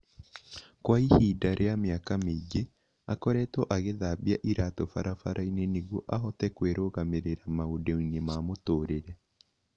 Kwa ihinda rĩa mĩaka mĩingĩ, aakoretwo agĩthambia iraatũ barabara-inĩ nĩguo ahote kwĩrũgamĩrĩra maũndũ-ini ma mũtũrire